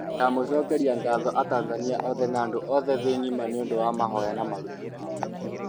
ndamũcokeria ngatho atanzania othe na andũ othe thĩ ng'ima niũndũ wa mahoya na maruta mao